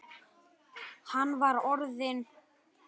Hann var orðinn.